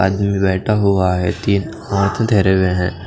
आदमी बेठा हुवा हे हाथ धेरे हुए है।